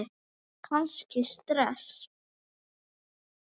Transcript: Kannski stress?